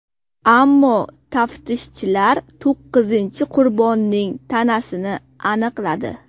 Ammo taftishchilar to‘qqizinchi qurbonning tanasini aniqladi.